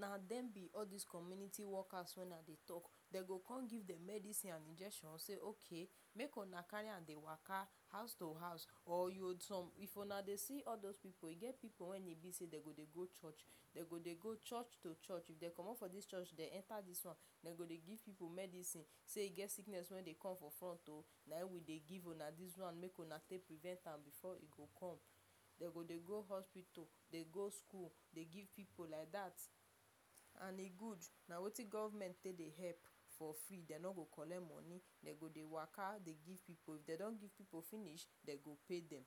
Na dem be all this community workers wey I dey talk. Dey go come give dem medisin and injection say, “Okay make una carry am dey waka house to house.” Or you will some — if una dey see all those pipu — e get pipu wey e be say dey go dey go church, dey go dey go church to church. If dey comot from this church, dey enter this one. Dey go dey give pipu medisin say, “E get sickness wey dey come for front oh, na him we dey give una this one make una take prevent am before e go come.” Dey go dey go hospital, dey go school, dey give pipu like that. And e good. Na wetin government take dey help for free. Dey no dey collect money. Dey go dey waka dey give pipu. If dey don give pipu finish, dey go pay dem.